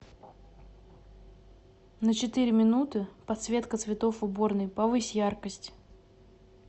на четыре минуты подсветка цветов в уборной повысь яркость